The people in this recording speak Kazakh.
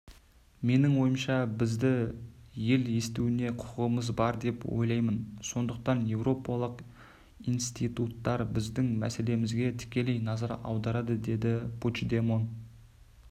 менің ойымша бізді ел естуіне құқығымыз бар деп ойлаймын сондықтан еуропалық институттар біздің мәселелерімізге тікелей назар аударады деді пучдемон